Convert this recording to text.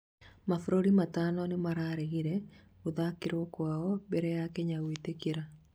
Mabũrũri matano nĩmararegire gũthakĩrwo kwao mbere ya Kenya gwĩtĩkĩra